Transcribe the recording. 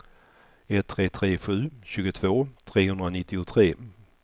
ett tre tre sju tjugotvå trehundranittiotre